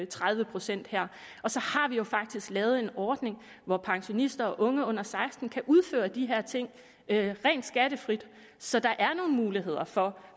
tredive procent her og så har vi jo faktisk lavet en ordning hvor pensionister og unge under seksten år kan udføre de her ting rent skattefrit så der er nogle muligheder for